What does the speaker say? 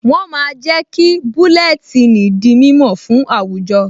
Wọ́n máa ń jẹ́ kí búlẹ́tíìnì di mímọ̀ fún àwùjọ